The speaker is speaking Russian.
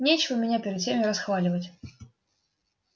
нечего меня перед всеми расхваливать